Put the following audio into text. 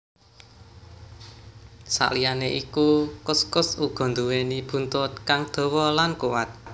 Saliyané iku kuskus uga nduwéni buntut kang dawa lan kuwat